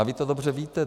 A vy to dobře víte.